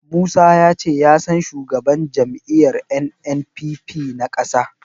Musa ya ce ya san shugaban jam'iyyar NNPP na ƙasa.